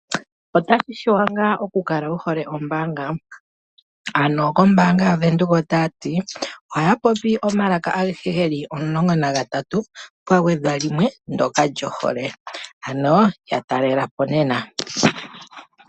Otashi shuwa ngaa okukale wuhole ombaanga? Ano kombaanga yaWindhoek otaya tii, ohaya popi omalaka agehe geli 13, pwa gwedhwa limwe ndyoka lyohole, ano ya talelapo nena.